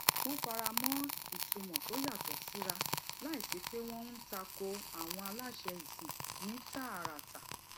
wón fara mó ìtumò tó yàtò síra láìsí pé wón ń ta ko àwọn aláṣẹ ìsìn ní tààràtà